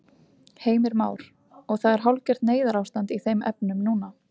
Heimir Már: Og það er hálfgert neyðarástand í þeim efnum núna?